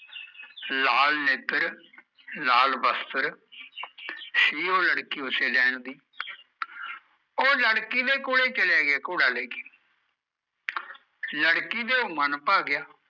ਲਾਲ ਨੇਤਰ ਲਾਲ ਬਸਤਰ ਸੀ ਓਹ ਲੜਕੀ ਓਸੇ ਨੈਣ ਦੀ, ਓਹ ਲੜਕੀ ਦੇ ਕੋਲੇ ਚਲਿਆ ਗਿਆ ਘੋੜਾ ਲੈ ਕੇ ਲੜਕੀ ਦਾ ਮਨ ਭਰ ਗਿਆ